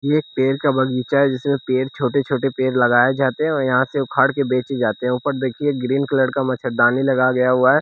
एक पेड़ का बगीचा है जिसमें पेड़ छोटे छोटे पेड़ लगाए जाते हैं यहां से उखाड़ के बेचे जाते हैं ऊपर देखिए ग्रीन कलर का मच्छरदानी लगा गया हुआ है।